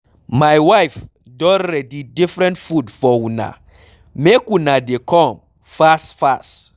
My wife don ready different food for una, make una dey come fast fast.